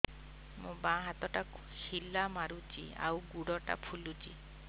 ମୋ ବାଆଁ ହାତଟା ଖିଲା ମାରୁଚି ଆଉ ଗୁଡ଼ ଟା ଫୁଲୁଚି